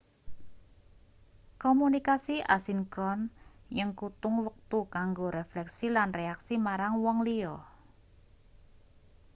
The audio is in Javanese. komunikasi asinkron nyengkutung wektu kanggo refleksi lan reaksi marang wong liya